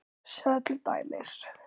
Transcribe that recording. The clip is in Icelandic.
Sjáðu til dæmis